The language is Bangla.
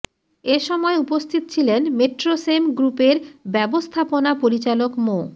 এ সময় উপস্থিত ছিলেন মেট্রোসেম গ্রুপের ব্যবস্থাপনা পরিচালক মো